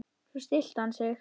Svo stillti hann sig.